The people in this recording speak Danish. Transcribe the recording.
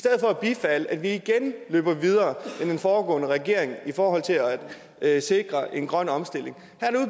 at bifalde at vi igen løber videre end den foregående regering i forhold til at sikre en grøn omstilling